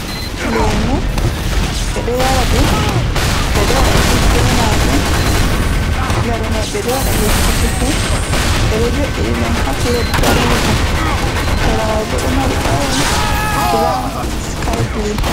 Lemu, ɓe ɗo yara ɗum, ɓe ɗo waɗa jus be maajum, lare mai ɓe ɗo waɗa lekki chufi, ɓe ɗo jo'ini ɗum on ha plet daneejum, sera mai bo ɗo mari orenj, brown, skaai bluu.